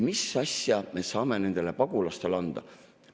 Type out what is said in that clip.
Mis asja me saame nendele pagulastele anda?